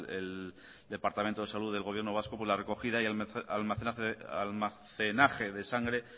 el departamento de salud del gobierno vasco la recogida y almacenaje de sangre